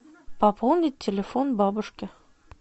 пополнить телефон бабушке